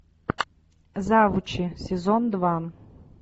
завучи сезон два